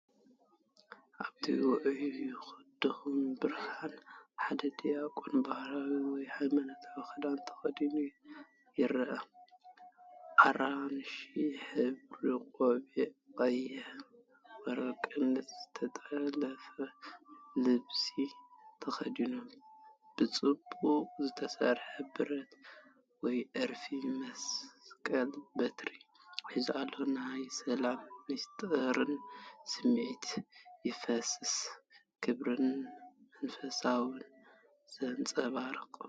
ኣብቲ ውዑይን ድኹምን ብርሃን፡ ሓደ ዲያቆን ባህላዊ ወይ ሃይማኖታዊ ክዳን ተኸዲኑ ይረአ። ኣራንሺ ሕብሩ ቆቢዕ፡ ቀይሕን ወርቅን ዝተጠልፈ ልብሲ ተኸዲኑ፡ ብጽቡቕ ዝተሰርሐ ብረት ወይ ዕርፊ መስቀል/በትሪ ሒዙ ኣሎ። ናይ ሰላምን ምስጢርን ስምዒት ይፈስስ። ክብርን መንፈሳውነትን ዘንጸባርቕ፡፡